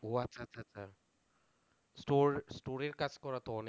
ও আচ্ছা আচ্ছা আচ্ছা। Store store এর কাজ করা তো অনেক,